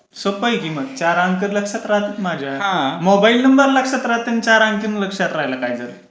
सोपं आहे की मग चार अंकी लक्षात राहतात माझ्या. मोबाईल नंबर लक्षात राहत अन चार अंकी पण लक्षात राहायला पाहिजे.